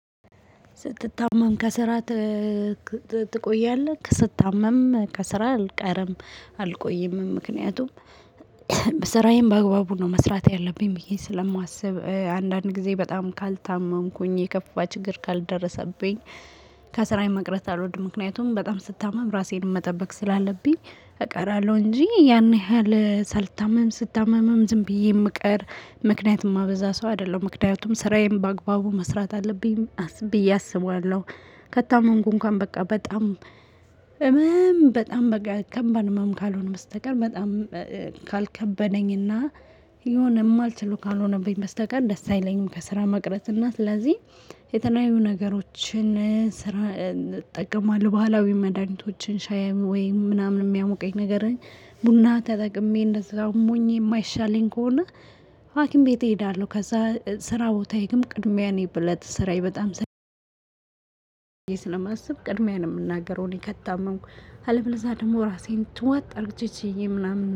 ስትታመም ከስራ ትቆያለህ? ስታመም ከስራ አልቀርም አልቆይም ምክንያቱም በሰራዬም በአግባቡ ነው መስራት ያለብኝ ብዬ ስለማስብ አንዳንድ ጊዜ በጣም ካልታመምኩኝ የከፋ ችግር ካልደረሰብኝ። ከስራዬ መቅረት አልወድም ምክንያቱም በጣም ስታመም ራሴን መጠበቅ ስላለብኝ እቀራለሁ እንጂ ያን ያህል ሳልታመም ስታመምም ዝም ብዬ የምቀር ምክንያቱም የማበዛ ሰው አይደለም ምክንያቱም ስራዬን በአግባቡ መስራት አለብኝ ብዬ አስባለሁ። ከታመንኩ እንኳን በቃ በጣም እመም በጣም ከባድ እመን ካልሆን በስተቀር በጣም ካልከበነኝና የሆነ ማልችሎ ካልሆነብኝ በስተቀር ደስ አይለኝም። ከስራ መቅረጽ እና ስለዚህ የተለያዩ ነገሮችን ስራ እጠቀማለሁ ባህላዊ መድሃኒቶችን ሻይ ወይ ምናምን የሚያሞቀኝ ነገር ነኝ። ቡና ተጠቅሜ እንደዛ አሞኝ የማይሻለኝ ከሆነ የሆነ ማልችሎ ካልሆነብኝ በስተቀር ደስ አይለኝም ከስራ መቅረጽ እና ስለዚህ የተለያዩ ነገሮችን ስራ እጠቀማለሁ ባህላዊ መድሃኒቶችን ሻይ ወይ ምናምን የሚያሞቀኝ ነገር ነኝ ቡና ተጠቅሜ እንደዛ አሞኝ የማይሻለኝ። ከሆነ ስለማስብ ቅድሚያ ነው የምናገረው እኔ ከታመንኩ አለበለዛ ደግሞ ራሴን ትዋጥ ችዬ ምናምን